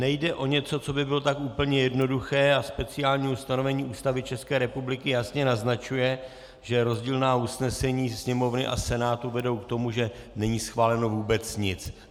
Nejde o něco, co by bylo tak úplně jednoduché, a speciální ustanovení Ústavy České republiky jasně naznačuje, že rozdílná usnesení Sněmovny a Senátu vedou k tomu, že není schváleno vůbec nic.